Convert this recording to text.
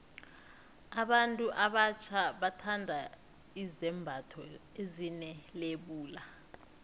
abantu abatjha bathanda izembatho ezine lebula